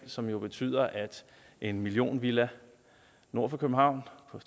som jo betyder at en millionvilla nord for københavn